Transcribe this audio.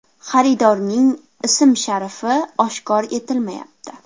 Xaridorning ism-sharifi oshkor etilmayapti.